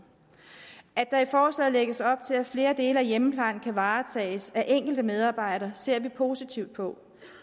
at der i forslaget lægges op til at flere dele af hjemmeplejen kan varetages af enkelte medarbejdere ser vi positivt på